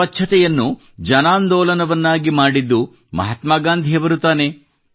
ಸ್ವಚ್ಛತೆಯನ್ನು ಜನಾಂದೋಲನವನ್ನಾಗಿ ಮಾಡಿದ್ದು ಮಹಾತ್ಮಾ ಗಾಂಧಿಯವರು ತಾನೇ